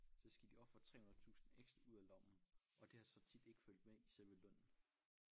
Så skal de ofre 300 tusind ekstra ud af lommen og det har så tit ikke fulgt med i selve lønnen